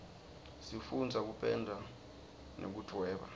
sifundza kupenda nekudvweba